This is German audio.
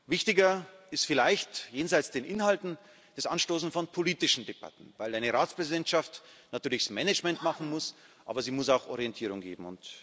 Wichtiger ist vielleicht jenseits der Inhalte das Anstoßen von politischen Debatten, weil eine Ratspräsidentschaft natürlich das Management machen muss, aber sie muss auch Orientierung geben.